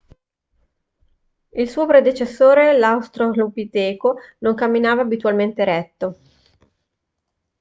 il suo predecessore l'australopiteco non camminava abitualmente eretto